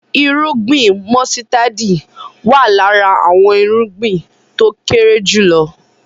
Irúgbìn músítádì wá lára àwọn irúgbìn tó kéré jùlọ